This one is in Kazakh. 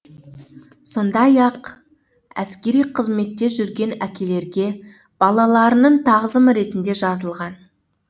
сондай ақ әскери қызметте жүрген әкелерге балаларының тағзымы ретінде жазылған